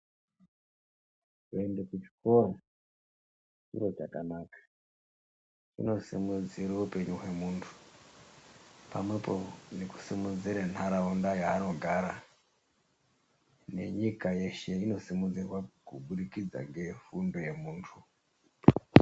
Kuenda kuzvikora chiro chakanaka kunosimudzira upenyu hwemuthu pamwepo nekusimudzira ntaraunda yaanogara nenyika yeshe inosimudzirwa ngefundo yemunthu.